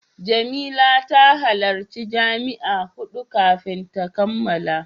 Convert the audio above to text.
Jamila ta halarci jami'a hudu kafin ta kammala.